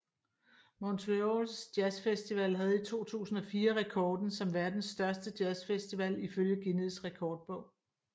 Montreals Jazz Festival havde i 2004 rekorden som verdens største jazz festival ifølge Guinness Rekordbog